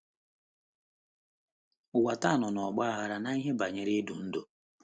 Ụwa taa nọ n’ọgba aghara n’ihe banyere idu ndú.